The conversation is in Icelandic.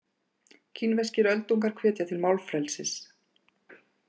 Kínverskir öldungar hvetja til málfrelsis